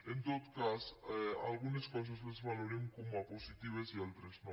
en tot cas algunes coses les valorem com a positives i altres no